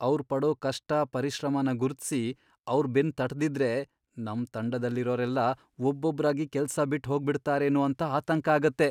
ಅವ್ರ್ ಪಡೋ ಕಷ್ಟ, ಪರಿಶ್ರಮನ ಗುರುತ್ಸಿ ಅವ್ರ್ ಬೆನ್ನ್ ತಟ್ದಿದ್ರೆ ನಮ್ ತಂಡದಲ್ಲಿರೋರೆಲ್ಲ ಒಬ್ಬೊಬ್ರಾಗಿ ಕೆಲ್ಸ ಬಿಟ್ಹೋಗ್ಬಿಡ್ತಾರೇನೋ ಅಂತ ಆತಂಕ ಆಗತ್ತೆ.